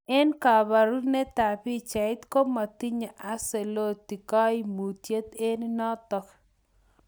Eng' kaparunetap pichait, komatinye Ancelotti kaimutyet eng notok